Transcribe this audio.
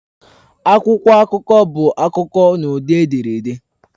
Akwụkwọ akụkọ bụ akụkọ n'ụdị ederede.